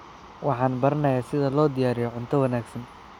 Waxaan baranayaa sida loo diyaariyo cunto wanaagsan.